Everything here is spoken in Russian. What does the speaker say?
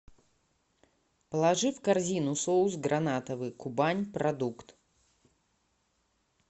положи в корзину соус гранатовый кубань продукт